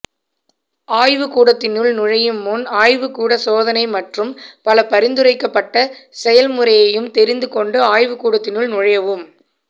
ஆய்வுக்கூடத்தினுள் நுழையும் முன் ஆய்வுக்கூட சோதனை மற்றும் பல பரிந்துரைக்கப்பட்ட செயல்முறையையும் தெரிந்து கொண்டு ஆய்வுக் கூடத்தினுள் நுழையவும்